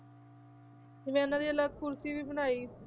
ਜਿਵੇਂ ਉਹਨਾਂ ਦੀ ਅਲੱਗ ਕੁਰਸੀ ਵੀ ਬਣਾਈ